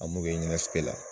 An mun bɛ la.